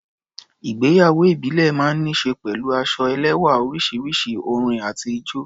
Ìgbéyàwó ìbílẹ̀ máa ń ní ṣe pẹ̀lú aṣọ ẹlẹ́wá̀ oríṣiríṣi, orin àti ijó.